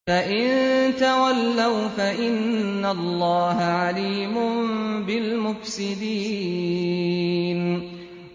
فَإِن تَوَلَّوْا فَإِنَّ اللَّهَ عَلِيمٌ بِالْمُفْسِدِينَ